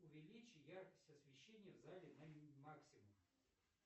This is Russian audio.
увеличь яркость освещения в зале на максимум